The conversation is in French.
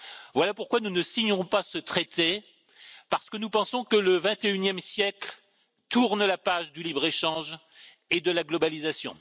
Voilà pourquoi nous ne signerons pas ce traité, parce que nous pensons que le XXIe siècle tourne la page du libre échange et de la globalisation.